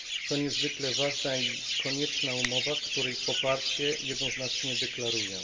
To niezwykle ważna i konieczna umowa, której poparcie jednoznacznie deklaruję.